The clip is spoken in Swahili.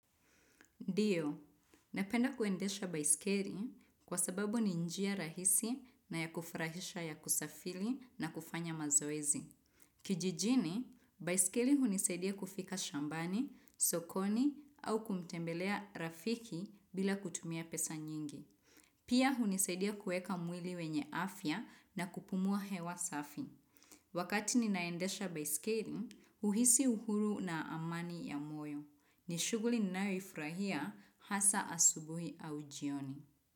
Ndiyo, napenda kuendesha baiskeli kwa sababu ni njia rahisi na ya kufurahisha ya kusafiri na kufanya mazoezi. Kijijini, baiskeli hunisaidia kufika shambani, sokoni au kumtembelea rafiki bila kutumia pesa nyingi. Pia hunisaidia kueka mwili wenye afya na kupumua hewa safi. Wakati ninaendesha baiskeli, huhisi uhuru na amani ya moyo. Nishuguli ninayo ifurahia hasa asubuhi au jioni.